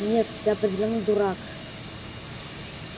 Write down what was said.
нет ты определённо дурак